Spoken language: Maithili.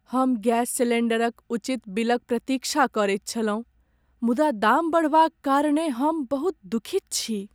हम गैस सिलेंडरक उचित बिलक प्रतीक्षा करैत छलहुँ, मुदा दाम बढ़बाक कारणेँ हम बहुत दुखित छी।